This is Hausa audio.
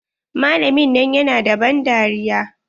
Malamin nan ya na da ban dariya.